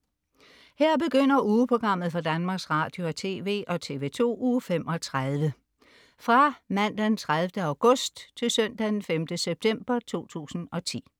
Her begynder ugeprogrammet for Danmarks Radio- og TV og TV2 Uge 32 Fra Mandag den 30. august 2010 Til Søndag den 5. september 2010